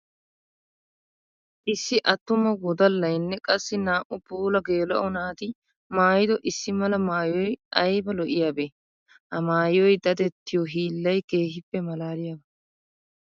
Issi atuma woddalayinne qassi naa'u puula geela'o naati maayiddo issi mala maayoy aybba lo'iyabbe! Ha maayoy daddettiyo hiillay keehippe malaalliyaba!